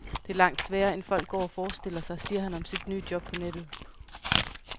Det er langt sværere end folk går og forestiller sig, siger han om sit nye job på nettet.